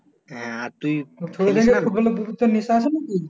হ্যাঁ আর তুই